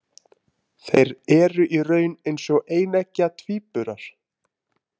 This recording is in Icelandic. Þeir eru í raun eins og eineggja tvíburar.